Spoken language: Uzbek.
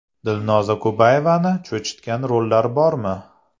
Dilnoza Kubayevani cho‘chitgan rollar bormi?